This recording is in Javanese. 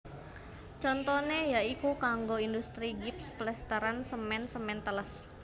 Contone ya iku kanggo industri gips plesteran semen semen teles